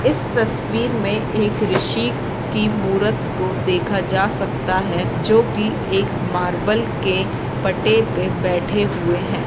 इस तस्वीर में एक ऋषि की मूरत को देखा जा सकता है जो कि एक मार्बल के पट्टे पे बैठे हुए है।